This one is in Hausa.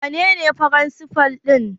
Wanene firinsifal ɗin?